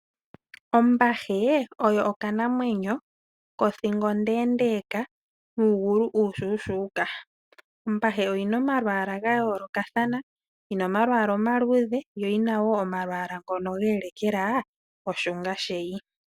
Ombahe oyo okanamwenyo kothingo ondeendeeka nuugulu uushuushuuka. Ombahe oyi na omalwaala ga yoolokathana. Oyi na omalwaala omandjimbi nomalwaala ngoka ge elekela iihenguti ya kukuta.